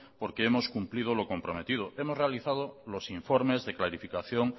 porque hemos cumplido lo comprometido hemos realizado los informes de clarificación